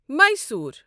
Mysore